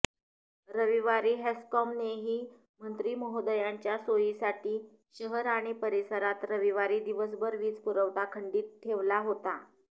रविवारी हेस्कॉमनेही मंत्रिमहोदयांच्या सोयीसाठी शहर आणि परिसरात रविवारी दिवसभर वीजपुरवठा खंडित ठेवला होता